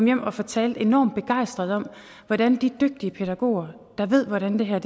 hjem og fortalte enormt begejstret om hvordan de dygtige pædagoger der ved hvordan det her